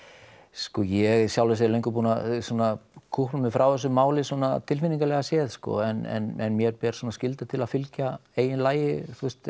sko ég er í sjálfu sér löngu búinn að svona kúpla mig frá þessu máli svona tilfinningalega séð sko en mér ber svona skylda til að fylgja eigin lagi þú veist